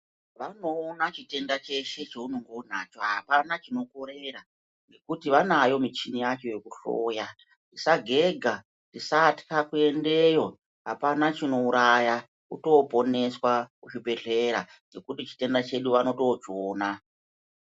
Vanoona chitenda cheshe chaunonge uinacho apana chino korera ngekuti vanayo michini yacho yeku hloya usagega usatya kuendayo apana chino uraya kuto poneswa ku zvi bhedhlera ngekuti chitenda chedu vanoto chiona.